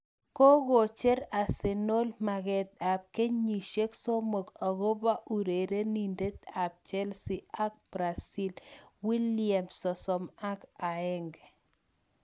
Kokocher Arsenal maket ab kenyisiek somok akobo urerenindet ab Chelsea ak Brazil Willian, 31.